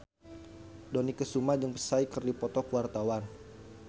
Dony Kesuma jeung Psy keur dipoto ku wartawan